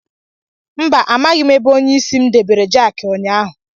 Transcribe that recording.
Mba, amaghim ebe onye isi m debere jaki ụnyaahụ.